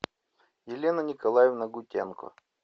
елена николаевна гутенко